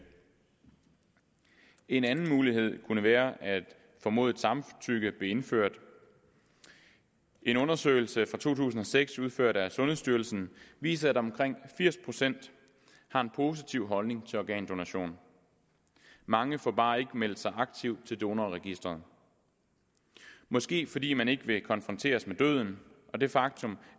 en anden mulighed kunne være at formodet samtykke blev indført en undersøgelse fra to tusind og seks udført af sundhedsstyrelsen viser at omkring firs procent har en positiv holdning til organdonation mange får bare ikke meldt sig aktivt til donorregistret måske fordi man ikke vil konfronteres med døden og det faktum